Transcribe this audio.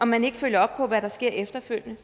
man ikke følger op på hvad der sker efterfølgende